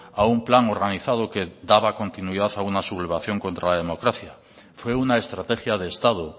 a un plan organizado que daba continuidad a una sublevación contra la democracia fue una estrategia de estado